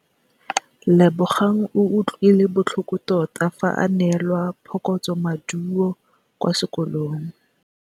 Lebogang o utlwile botlhoko tota fa a neelwa phokotsômaduô kwa sekolong.